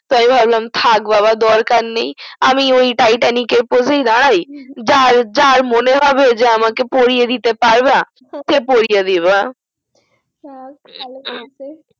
আমি ভাবলাম থাক বাবা দরকার নেই আমি ওই titanic এর pose এ দাড়াই যার যার মনে হবে যে আমাকে পরিয়ে দিতে পারবা সে পরিয়ে দিবা